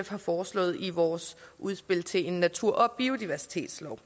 foreslået i vores udspil til en natur og biodiversitetslov